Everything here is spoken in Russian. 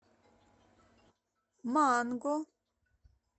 манго